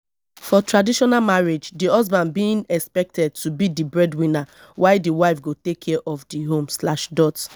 for traditional marriage di husband being expected to be di breadwinner while di wife go take care of di home slash dot